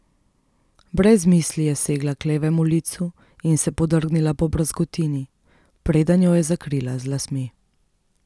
Brez misli je segla k levemu licu in se podrgnila po brazgotini, preden jo je zakrila z lasmi.